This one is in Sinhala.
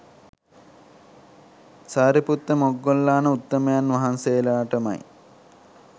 සාරිපුත්ත මොග්ගල්ලාන උත්තමයන් වහන්සේලාටමයි.